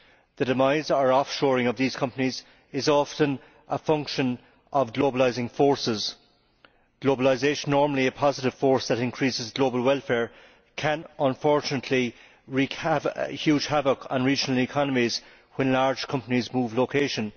The demise or offshoring of these companies is often a function of globalising forces. Globalisation normally a positive force that increases global welfare can, unfortunately, wreak huge havoc on regional economies when large companies move location.